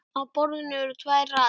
Á borðinu eru tvær raðir.